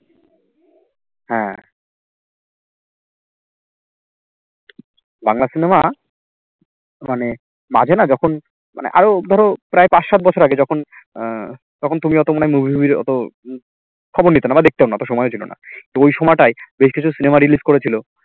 Bangla cinema মানে মাঝে না যখন মানে আরো ধরো প্রায় পাঁচ সাত বছর আগে যখন উম তখন তুমি অতো মনে হয় movie টুভির অতো খবর নিতে না বা দেখতে না অতো সময় ও ছিল না তো ওই সময়টাই বেশ কিছু cinema release করেছিল